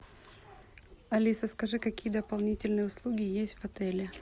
алиса скажи какие дополнительные услуги есть в отеле